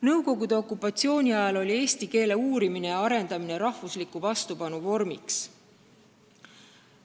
Nõukogude okupatsiooni ajal oli eesti keele uurimine ja arendamine rahvusliku vastupanu vormiks.